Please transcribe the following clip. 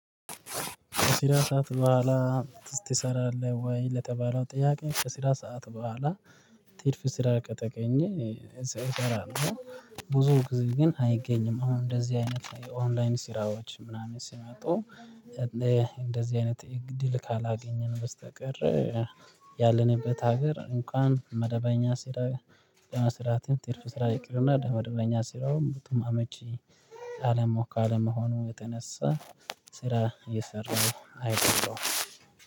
ከስራ ሰዓት በኋላ ትሰራለህ ወይ? ለተባለው ጥያቄ ከስራ ሰዓት በኋላ ትርፍ ስራ ከተገኘ እሰራለሁ። ብዙ ጊዜ ግን አይገኝም አሁን እንደዚህ አይነት ላይ ኦንላይን ስራዎች ምናምን ሲመጡ። እንደዚህ አይነት እድል ካላገኘን በስተቀር። ያለንበት ሀገር እንኳን መደበኛ ስራ ለመስራትም ትርፍ ስራ ይቅርና ለመደበኛ ስራውም አመቺ። ካለመሆኑ የተነሳ ስራ እየሰራሁ አይደለሁም